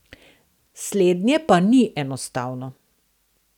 Slednje pa ni enostavno.